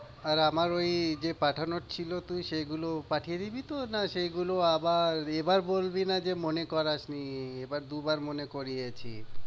আর আমার ঐ যে পাঠানোর ছিলো তুই সেগুলো পাঠিয়ে দিবি তো, না সেগুলো আবার এ এবার বলবি না যে মনে করাস নি, এবার দু বার মনে করিয়েছি।